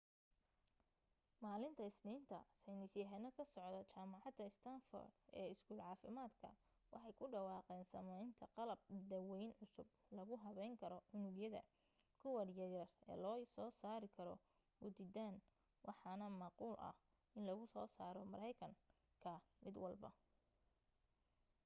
maalinta isniinta saynis yahano ka socda jamacada stanford ee iskuul caafimadka waxay ku dhawaaqeen sameynta qalab daweyn cusub lagu habeyn karo unugyada : kuwa yar yar ee lagu soo saari karo muditan waxaana macquul ah in lagu soo saro mareykan ka mid walba